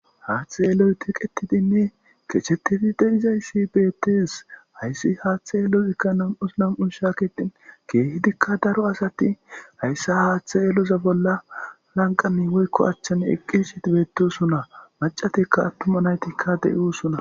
Haaththe yeloy tiqetidinne kechetidi deizayssi beettes hayssi haaththe yeeloyikka nam'us nam'u shaakitin keehidikka daro asati hayssa haaththe yeluza bolla lanqami woykko achchan eqqishit beetosunna macatikka attuma naytikka de'usuna.